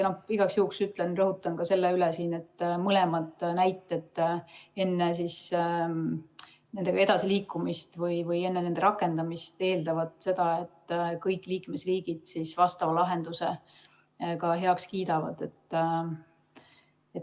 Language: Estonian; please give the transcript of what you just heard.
Igaks juhuks rõhutan ka selle üle, et mõlemad näited eeldavad enne nendega edasiliikumist või enne nende rakendamist seda, et kõik liikmesriigid lahenduse ka heaks kiidavad.